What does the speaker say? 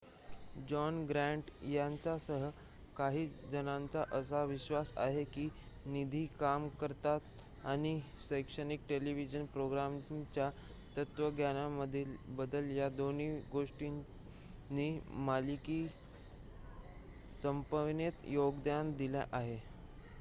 John Grant यांच्यासह काही जणांचा असा विश्वास आहे की निधीची कमतरता आणि शैक्षणिक टेलिव्हिजन प्रोग्रामिंगच्या तत्त्वज्ञानामधील बदल या दोन्ही गोष्टींनी मालिका संपविण्यात योगदान दिले आहे